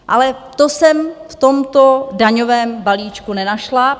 Ale to jsem v tomto daňovém balíčku nenašla.